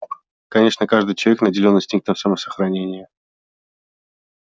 конечно каждый человек наделен инстинктом самосохранения